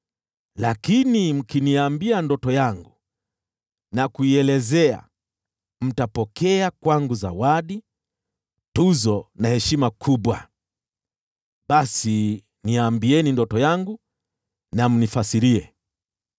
Lakini mkiniambia ndoto yangu na kuielezea, mtapokea kwangu zawadi, tuzo na heshima kubwa. Basi niambieni ndoto yangu na mnifasirie.”